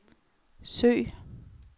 søg